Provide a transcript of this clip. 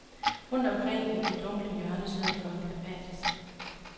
Rundt omkring i de dunkle hjørner sidder folk apatisk.